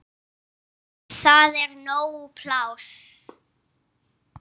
Það er nóg pláss.